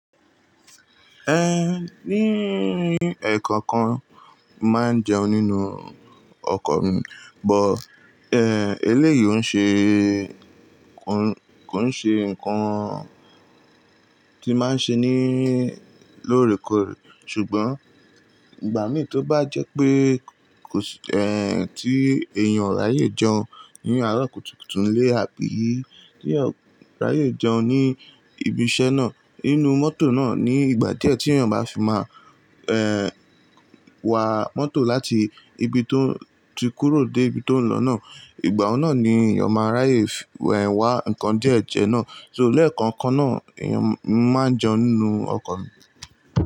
Ẹ ní ẹ̀kọ̀ọ̀kan mo máa ń jẹun nínú ọkọ̀ mi, but ẹ eléyìí ò ṣe, kò ń ṣe nǹkan tí máa ń ṣe ní lóòrèkóòrè. Ṣùgbọ́n ìgbà mí tí ó bá jẹ́ pé kò sí ẹ tí èèyàn o ráyè jẹun ní àárọ̀ kùtùkùtù nílé àbí tí eeyan ráyè jẹun ní ibi iṣẹ́ náà nínú mọ́tò náà ní ìgbà díẹ̀ tí èèyàn bá fi má ẹ wà mọ́tò láti ibi tó ti kúrò dé ibi tó ń lọ náà. Ìgbà ohun náà ni èèyàn máa ráyè wẹ wà nnkan díẹ̀ jẹ náà. So léẹ̀kọ̀ọ̀kan náà èèyàn mo máa ń jẹun nínú ọkọ̀ mi.